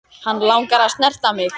Hann langar að snerta mig.